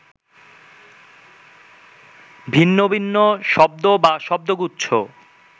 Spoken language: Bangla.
ভিন্ন ভিন্ন শব্দ বা শব্দগুচ্ছ